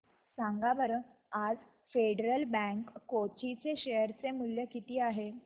सांगा बरं आज फेडरल बँक कोची चे शेअर चे मूल्य किती आहे